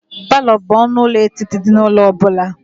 Palọ bụ ọnụ ụlọ etiti dị n'ụlọ ọ bụla.